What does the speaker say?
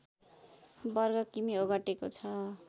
वर्ग किमि ओगटेको छ